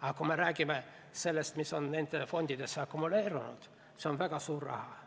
aga kui me räägime sellest, mis on nendesse fondidesse akumuleerunud, siis see on väga suur raha.